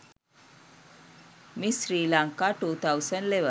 miss sri lanka 2011